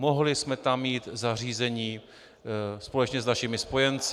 Mohli jsme tam mít zařízení společně s našimi spojenci.